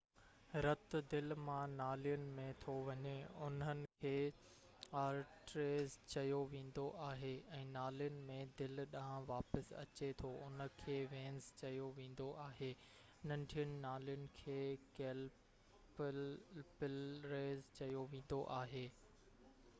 رت دل مان نالين ۾ ٿو وڃي انهن کي آرٽريز چيو ويندو آهي ۽ نالين ۾ دل ڏانهن واپس اچي ٿو انهن کي وينز چيو ويندو آهي ننڍين نالين کي ڪيپلريز چيو ويندو آهي